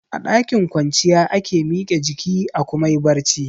A ɗakin kwanciya ake mike jiki a kuma yi barci